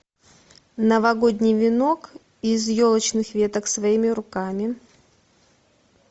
новогодний венок из елочных веток своими руками